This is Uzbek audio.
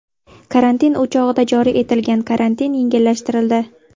Karantin o‘chog‘ida joriy etilgan karantin yengillashtirildi .